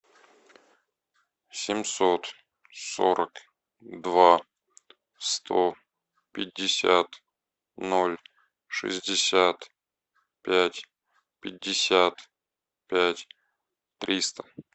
семьсот сорок два сто пятьдесят ноль шестьдесят пять пятьдесят пять триста